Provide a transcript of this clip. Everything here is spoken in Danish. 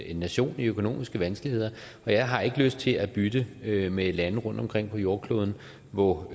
en nation i økonomiske vanskeligheder og jeg har ikke lyst til at bytte med med lande rundtomkring på jordkloden hvor